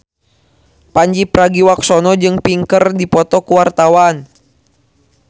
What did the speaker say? Pandji Pragiwaksono jeung Pink keur dipoto ku wartawan